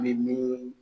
Ni min